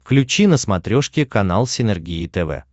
включи на смотрешке канал синергия тв